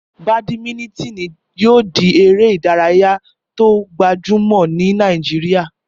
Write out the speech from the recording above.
Bàdímínítìnì yóò di eré ìdárayá tó gbajúmọ̀ ní Nàìjíríà